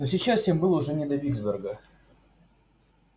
но сейчас всем было уже не до виксберга